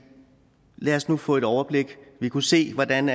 lad os nu få et overblik vi kunne se hvordan